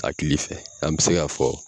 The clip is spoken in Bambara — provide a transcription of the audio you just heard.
Akili fɛ an be se ka fɔ